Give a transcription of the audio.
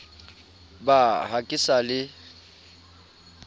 ba ha ke sa le